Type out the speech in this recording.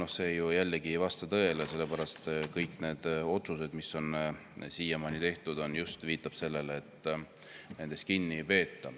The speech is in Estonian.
Aga see ju jällegi ei vasta tõele, sellepärast et kõik need otsused, mis on siiamaani tehtud, viitavad nimelt sellele, et kinni ei peeta.